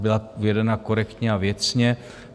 Byla vedena korektně a věcně.